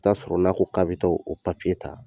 Taa sɔrɔ n'a ko k'a bɛ taa o ta